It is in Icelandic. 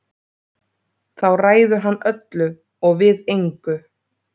Þá ræður hann öllu og við engu.